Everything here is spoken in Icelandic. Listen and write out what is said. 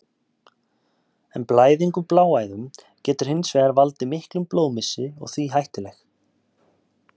En blæðing úr bláæðum getur hins vegar valdið miklum blóðmissi og því hættuleg.